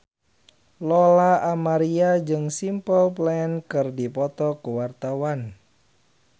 Lola Amaria jeung Simple Plan keur dipoto ku wartawan